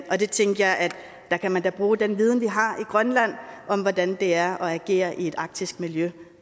der tænkte jeg at der kan man da bruge den viden vi har i grønland om hvordan det er at agere i et arktisk miljø